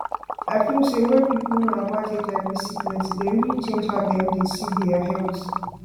i feel say wen people know about hiv sickness e dey really change how dem see dia health